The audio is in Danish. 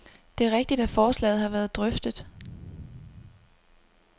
Det er rigtigt, at forslaget har været drøftet.